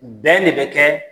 Bɛn de bɛ kɛ